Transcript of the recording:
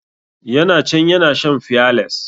Ya na can ya na shan fiyales.